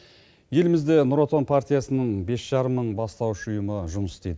елімізде нұр отан партиясының бес жарым мың бастауыш ұйымы жұмыс істейді